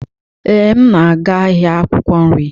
Ee, m na-aga ahịa akwụkwọ nri.